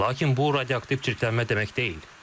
Lakin bu radioaktiv çirklənmə demək deyil.